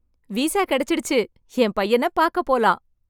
Visa கிடைச்சிடுச்சு. என் பையனைப் பார்க்கப் போலாம்.